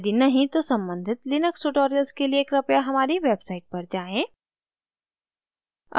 यदि नहीं तो सम्बंधित लिनक्स tutorials के लिए कृपया हमारी website पर जाएँ